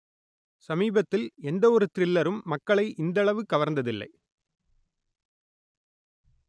சமீபத்தில் எந்த ஒரு த்‌ரில்லரும் மக்களை இந்தளவு கவர்ந்ததில்லை